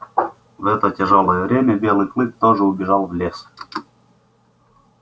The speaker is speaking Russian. в это тяжёлое время белый клык тоже убежал в лес